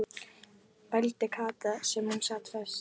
vældi Kata þar sem hún sat föst.